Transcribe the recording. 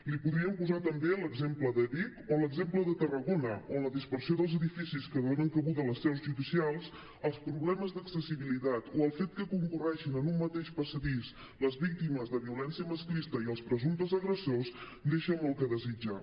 li podríem posar també l’exemple de vic o l’exemple de tarragona on la dispersió dels edificis que donen cabuda a les seus judicials els problemes d’accessibilitat o el fet que concorrin en un mateix passadís les víctimes de violència masclista i els presumptes agressors deixa molt que desitjar